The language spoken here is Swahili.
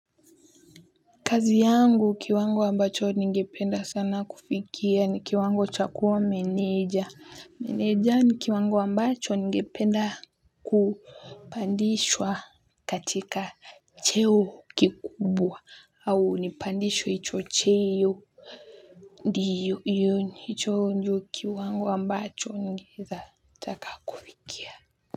Kazi yangu kiwango ambacho ningependa sana kufikia ni kiwango chakuwa meneja. Meneja ni kiwango ambacho ningependa kupandishwa katika cheo kikubwa au nipandishwe hicho cheo ndio hicho ndio kiwango ambacho ningeweza taka kufikia.